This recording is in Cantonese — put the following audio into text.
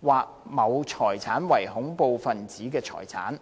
或某財產為恐怖分子財產。